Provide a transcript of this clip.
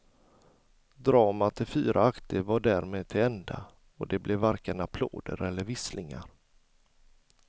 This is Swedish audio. Dramat i fyra akter var därmed till ända och det blev varken applåder eller visslingar.